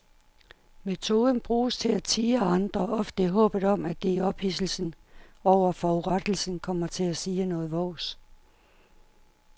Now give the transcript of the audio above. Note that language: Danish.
Metoden bruges til at tirre andre, ofte i håbet om at de i ophidselsen over forurettelsen kommer til at sige noget vås.